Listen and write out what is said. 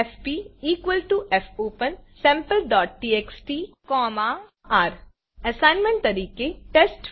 FP fopensampleટીએક્સટી R assignment તરીકે test